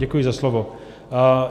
Děkuji za slovo.